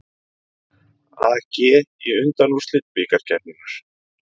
AG í undanúrslit bikarkeppninnar